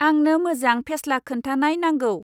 आंनो मोजां फेस्ला खोन्थानाय नांगौ।